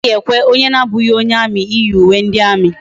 Anaghi ekwe onye na abughi onye army iyi uwe ndi army